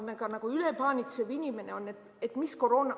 Nüüd, ülepaanitsevad inimesed.